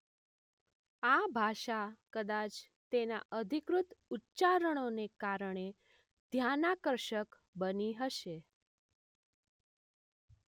આ ભાષા કદાચ તેના અધિકૃત ઉચ્ચારણોને કારણે ધ્યાનાકર્ષક બની હશે.